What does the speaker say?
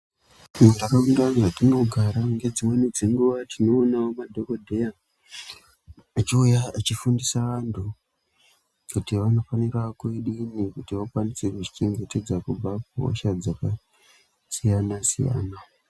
Muntaraunda mwatinogara dzimweni dzenguwa tinoonawo madhokodheya achiuya achifundiisa vantu kuti vanofanire kudini kuti vazvichengetedze kuhosha dzakasiyana siyana.